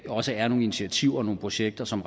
også er nogle initiativer og nogle projekter som